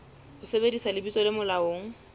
ho sebedisa lebitso le molaong